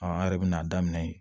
an yɛrɛ bɛna daminɛ